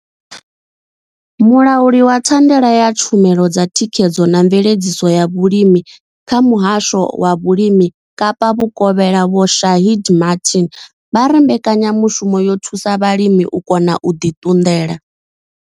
Mulauli wa thandela ya tshumelo dza thikhedzo na mveledziso ya vhulimi kha muhasho wa vhulimi Kapa vhukovhela Vho Shaheed Martin vha ri mbekanyamushumo yo thusa vhalimi u kona u ḓi ṱunḓela.